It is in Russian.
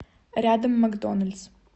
рядом макдоналдс